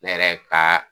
Ne yɛrɛ ka